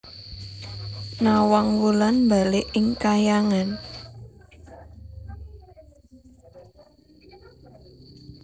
Nawang Wulan mbalik ing kahyangan